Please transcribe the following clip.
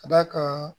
Ka d'a kan